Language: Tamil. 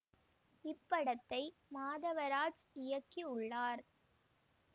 இப் படத்தை மாதவராஜ் இயக்கி உள்ளார்